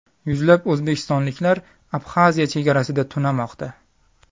Yuzlab o‘zbekistonliklar Abxaziya chegarasida tunamoqda.